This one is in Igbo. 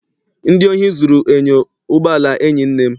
Ndị ohi zụrụ enyo ụgbọala enyi nne m